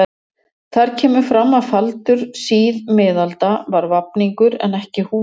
Þar kemur fram að faldur síðmiðalda var vafningur en ekki húfa.